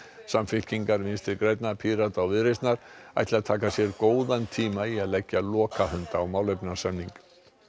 Samfylkingar Vinstri grænna Pírata og Viðreisnar ætli að taka sér góðan tíma í að leggja lokahönd á málefnasamning